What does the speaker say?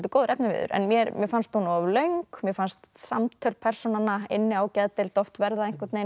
góður efniviður en mér fannst hún of löng mér fannst samtöl persónanna inni á geðdeild oft einhvern veginn